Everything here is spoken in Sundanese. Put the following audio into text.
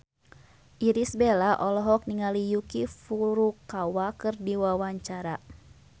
Irish Bella olohok ningali Yuki Furukawa keur diwawancara